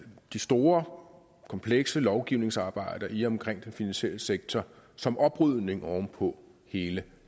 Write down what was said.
det store komplekse lovgivningsarbejde i og omkring den finansielle sektor som oprydning oven på hele